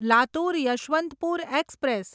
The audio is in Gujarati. લાતુર યશવંતપુર એક્સપ્રેસ